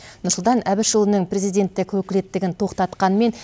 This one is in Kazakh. нұрсұлтан әбішұлының президенттік өкілеттігін тоқтатқанымен